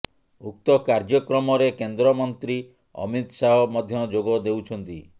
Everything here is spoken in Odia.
ଉକ୍ତ କାର୍ଯ୍ୟକ୍ରମରେ କେନ୍ଦ୍ର ମନ୍ତ୍ରୀ ଅମିତ ଶାହ ମଧ୍ୟ ଯୋଗ ଦେଉଛନ୍ତି